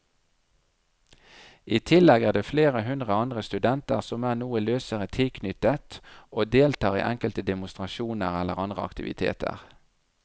I tillegg er det flere hundre andre studenter som er noe løsere tilknyttet og deltar i enkelte demonstrasjoner eller andre aktiviteter.